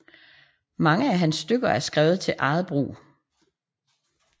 Mange af hans stykker er skrevet til eget brug